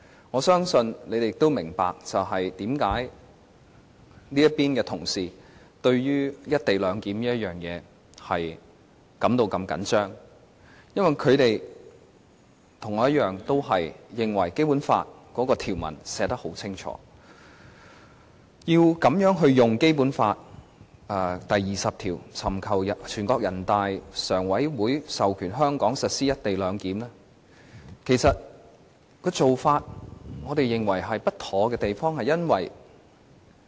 我相信大家也明白，為何這邊的同事對於"一地兩檢"如此在意，因為他們跟我一樣，認為《基本法》的條文寫得十分清楚，要如此運用《基本法》第二十條，尋求全國人民代表大會常務委員會授權香港實施"一地兩檢"，我們認為此做法不妥當。